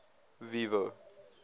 vivo